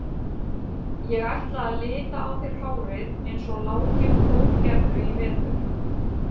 Ég ætla að lita á þér hárið eins og Láki og Þór gerðu í vetur.